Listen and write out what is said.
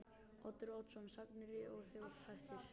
Oddur Oddsson: Sagnir og þjóðhættir.